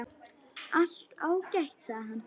Allt ágætt, sagði hann.